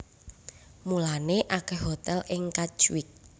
Mulané akèh hotèl ing Katwijk